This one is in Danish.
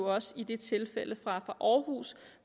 også i det tilfælde fra aarhus